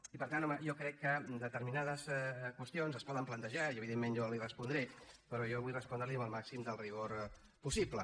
i per tant home jo crec que determinades qüestions es poden plantejar i evidentment jo li respondré però jo vull respondre li amb el màxim de rigor possible